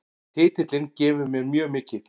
Titillinn gefur mér mjög mikið